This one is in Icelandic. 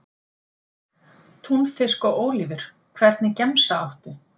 Túnfisk og ólívur Hvernig gemsa áttu?